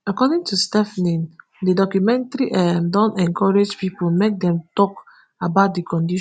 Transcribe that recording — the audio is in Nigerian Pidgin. according to stephanie di documentary um don encourage pipo make dem tok about di condition